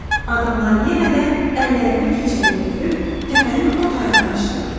Adamlar yenə də əllərinə keçəni götürüb təpənin o tayına qaçdılar.